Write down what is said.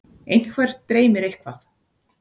einhvern dreymir eitthvað